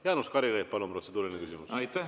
Jaanus Karilaid, palun, protseduuriline küsimus!